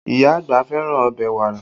Ìyá àgbà fẹ́ràn ọbẹ̀ wàrà